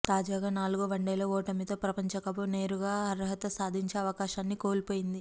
తాజాగా నాలుగో వన్డేలో ఓటమితో ప్రపంచకప్కు నేరుగా అర్హత సాధించే అవకాశాన్ని కోల్పోయింది